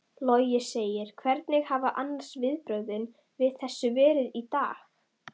Logi: Hvernig hafa annars viðbrögðin við þessu verið í dag?